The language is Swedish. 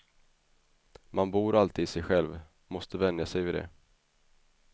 Man bor alltid i sig själv, måste vänja sig vid det.